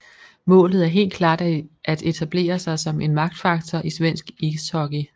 Målet er helt klart at etablere sig som en magtfaktor i svensk ishockey